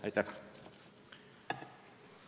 Aitäh!